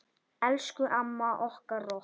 Elsku amma okkar rokk.